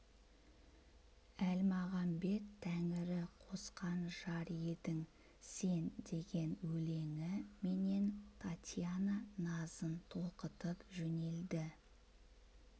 әлмағамбет тәңірі қосқан жар едің сен деген өлеңі менен татьяна назын толқытып жөнелді